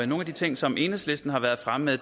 nogle af de ting som enhedslisten har været fremme